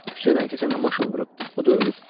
Küçədən keçəndə maşın vurub, o da ölüb.